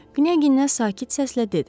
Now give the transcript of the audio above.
Qniyə sakit səslə dedi.